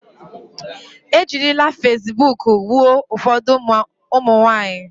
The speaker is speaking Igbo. E jirile fasibuuku gbuo ụfọdụ ụmụ nwaanyị.